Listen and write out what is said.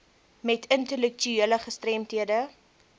met intellektuele gestremdhede